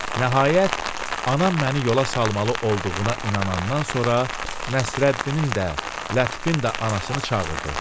Nəhayət, anam məni yola salmalı olduğuna inanandan sonra Nəsrəddinin də, Lətifin də anasını çağırdı.